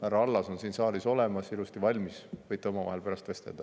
Härra Allas on siin saalis olemas, ilusasti valmis, võite omavahel pärast vestelda.